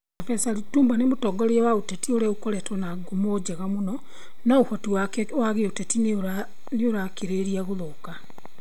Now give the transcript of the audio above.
Prof Lipumba nĩ mũtongoria wa gĩũteti ũrĩa ũkoretwo na ngumo njega mũno, no ũhoti wake wa gĩũteti nĩ 'ũrakĩrĩrĩria gũthũka.'